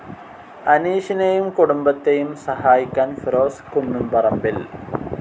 അനീഷിനെയും കുടുംബത്തെയും സഹായിക്കാൻ ഫിറോസ് കുന്നംപറമ്പിൽ